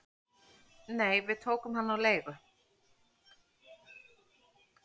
"""Nei, við tókum hann á leigu"""